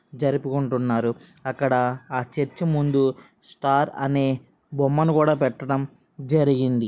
జరుపుకుంటున్నారు అక్కడ ఆ చర్చ్ ముందు స్టార్ అనే బొమ్మను కూడా పెట్టడం జరిగింది.